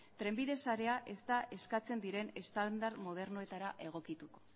trenbide sarea ez da eskatzen diren estandar modernoetara egokituko